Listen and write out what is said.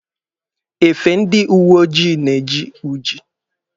Efe ndị uwe ojii na-eji uji.